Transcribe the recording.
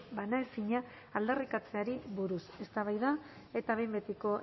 banaezina aldarrikatzeari buruz eztabaida eta behin betiko